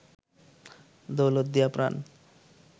Daulatdia প্রান্